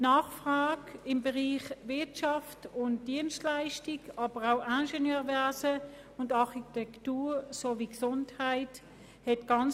Die Nachfrage für Studiengänge der Bereiche Wirtschaft und Dienstleistungen, Ingenieurwesen und Architektur sowie Gesundheit war sehr gross;